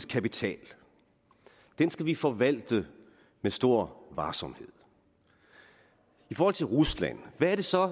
kapital den skal vi forvalte med stor varsomhed i forhold til rusland hvad er så